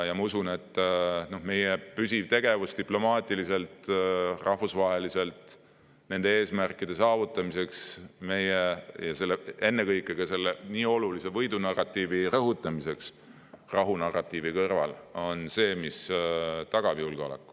Ma usun, et meie püsiv tegevus diplomaatiliselt ja rahvusvaheliselt nende eesmärkide saavutamiseks ja ennekõike selle nii olulise võidunarratiivi rõhutamiseks rahunarratiivi kõrval on see, mis tagab julgeoleku.